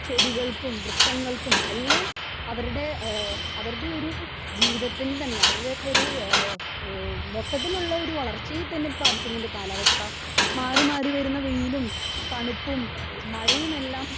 Speaker 2 ചെടികൾക്കും വൃക്ഷങ്ങൾക്കും എല്ലാം അവരുടെഅവരുടെ ഒരു ജീവിതത്തിൽ തന്നെ ഒര്‌ ഏ ഒ മൊത്തത്തിൽ ഉള്ളൊരു വളർച്ചയെ തന്നെ ബാധിക്കുന്നുണ്ട് കാലാവസ്ഥ. മാറി മാറി വരുന്ന വയിലും തണുപ്പും മഴയുമെല്ലാം